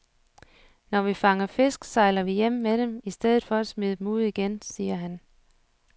Når vi fanger fisk, sejler vi hjem med dem i stedet for at smide dem ud igen, siger han.